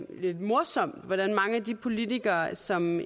lidt morsomt at mange af de politikere som